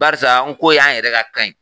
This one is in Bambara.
Barisa nko y'an yɛrɛ ka kan ye